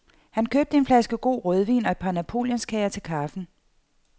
Han købte en flaske god rødvin og et par napoleonskager til kaffen.